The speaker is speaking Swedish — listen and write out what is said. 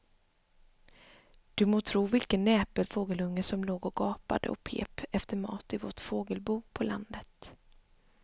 Du må tro vilken näpen fågelunge som låg och gapade och pep efter mat i vårt fågelbo på landet.